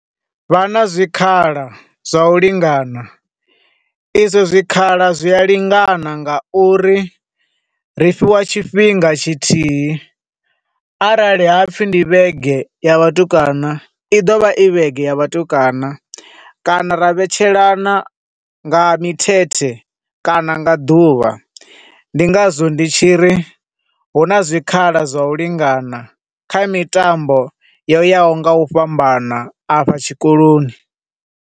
Vha na zwikhala zwa u lingana. E zwo zwikhala zwi a lingana nga uri ri fhiwa tshifhinga tshithihi, arali ha pfi ndi vhege ya vhatukana, i ḓovha i vhege ya vhatukana, kana ra vhetshelana nga mithethe kana nga ḓuvha, ndi nga zwo ndi tshiri hu na zwikhala zwa u lingana kha mitambo yo yaho nga u fhambana a fha tshikoloni.